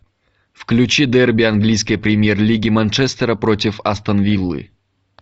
включи дерби английской премьер лиги манчестера против астон виллы